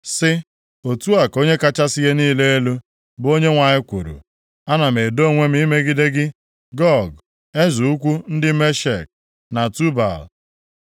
sị, ‘Otu a ka Onye kachasị ihe niile elu, bụ Onyenwe anyị kwuru: Ana m edo onwe m imegide gị, Gog, eze ukwu ndị Meshek na Tubal.